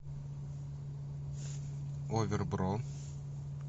овер бро